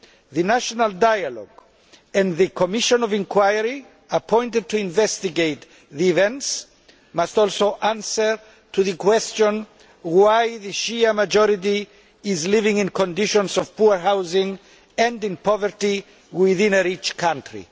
the national dialogue and the commission of inquiry appointed to investigate the events must also answer the question of why the Shia majority is living in conditions of poor housing and in poverty within a rich country.